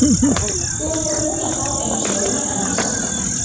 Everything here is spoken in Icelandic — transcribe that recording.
Þú ert þá búinn að fá eina söguna enn í safnið!